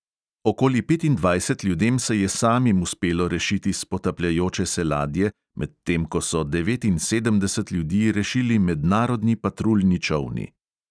Okoli petindvajset ljudem se je samim uspelo rešiti s potapljajoče se ladje, medtem ko so devetinsedemdeset ljudi rešili mednarodni patruljni čolni.